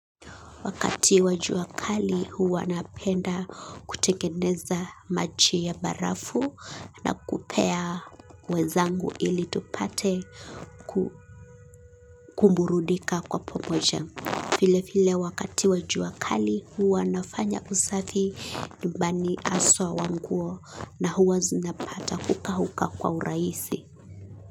Wakati wa jua kali huwa napenda kutengeneza maji ya barafu na kupea wenzangu ili tupate kuburudika kwa pamoja. Vile vile wakati wa jua kali huwa nafanya usafi nyumbani haswa wa nguo na huwa zinapata kukauka kwa urahisi.